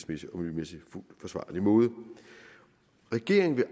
miljømæssigt fuldt forsvarlig måde regeringen vil